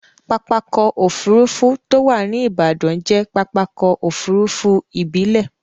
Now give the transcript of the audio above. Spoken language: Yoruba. Pápákọ̀ òfurufú tó wà ní Ìbàdàn jẹ́ pápákọ̀ òfurufú ìbílẹ̀.